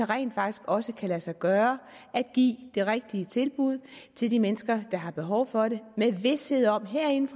rent faktisk også kan lade sig gøre at give det rigtige tilbud til de mennesker der har behov for det med vished om herinde